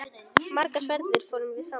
Margar ferðir fórum við saman.